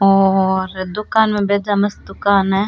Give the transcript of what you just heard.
और दुकान में मस्त दुकान है।